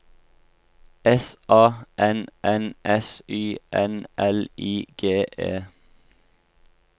S A N N S Y N L I G E